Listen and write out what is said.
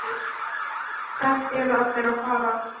Hvert eru allir að fara?